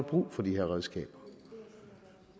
brug for de her redskaber